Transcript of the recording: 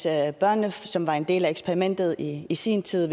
at børnene som var en del af eksperimentet i i sin tid